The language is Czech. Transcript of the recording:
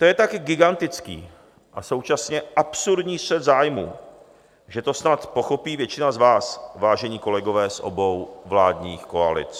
To je tak gigantický a současně absurdní střet zájmu, že to snad pochopí většina z vás, vážení kolegové z obou vládních koalic.